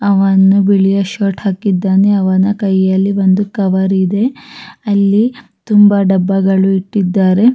ಅವನು ಬಿಳಿಯ ಶರ್ಟ್ ಹಾಕಿದ್ದಾನೆ ಅವನ ಕೈಯಲ್ಲಿ ಒಂದು ಕವರ್ ಇದೆ ಅಲ್ಲಿ ತುಂಬ ಡಬ್ಬಗಳು ಇಟ್ಟಿದ್ದಾರೆ.